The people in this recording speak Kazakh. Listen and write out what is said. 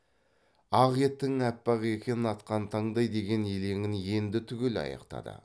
ақ етің аппақ екен атқан таңдай деген елеңін енді түгел аяқтады